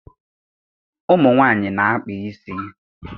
Ụmụ nwaanyị na-akpa isi